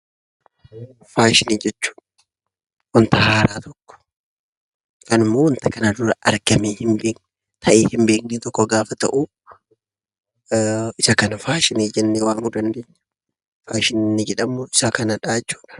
Faashinii jechuun wanta haaraa tokko yookan immoo wanta kana dura argamee hin beekne ta'ee hin beekne tokko gaafa ta'uu isa kana faashinii jennee waamuu dandeenya. Faashinii inni jedhamuu isa kanadhaa jechuudha.